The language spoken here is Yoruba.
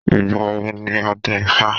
Ìgbà wo ni ọdún ifá?